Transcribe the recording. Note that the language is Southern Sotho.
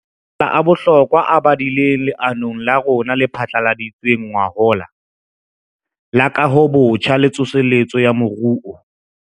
Ana ke makala a bohlokwa a badilweng leanong la rona le phatlaladitsweng ngwahola la Kahobotjha le Tsoseletso ya Moruo.